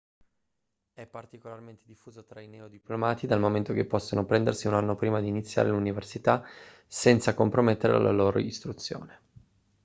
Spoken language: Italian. è particolarmente diffuso tra i neodiplomati dal momento che possono prendersi un anno prima di iniziare l'università senza compromettere la loro istruzione